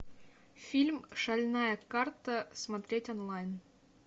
фильм шальная карта смотреть онлайн